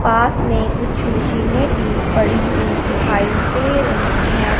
पास में कुछ मशीने भी पड़ी हुई दिखाई दे रही है।